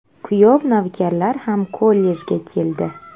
Kuyov-navkarlar ham kollejga keldi.